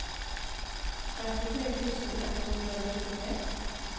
trettitre tusen ett hundre og nittitre